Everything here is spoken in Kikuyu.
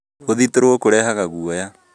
Gũthitũrũo kũrehaga guoya